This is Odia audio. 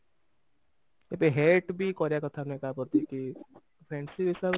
ଏବେ hate ବି କରିବା କଥା ନୁହେଁ କାହା ପ୍ରତି କି friendship ହିସାବରେ